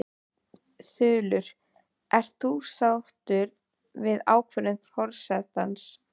Þulur: Ert þú sáttur við ákvörðun forsetans?